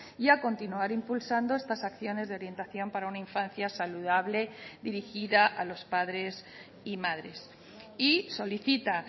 y a continuar impulsando estas acciones de orientación para una infancia saludable dirigida a los padres y madres y solicita